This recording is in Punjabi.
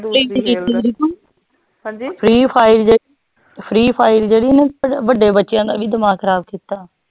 freefire ਜੇੜੀ ਓਨੇ ਵਡੇ ਬੱਚਿਆਂ ਦਾ ਵੀ ਦਿਮਾਗ ਖਰਾਬ ਕੀਤਾ